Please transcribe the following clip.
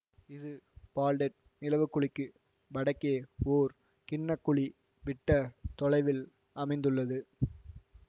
இது பால்டெட் நிலவுக்குழிக்கு வடக்கே ஓர் கிண்ண குழி விட்ட தொலைவில் அமைந்துள்ளது